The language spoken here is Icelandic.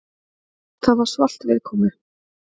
Það var svalt viðkomu.